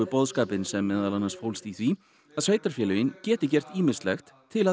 boðskapinn sem meðal annars fólst í því að sveitarfélögin geti gert ýmislegt til að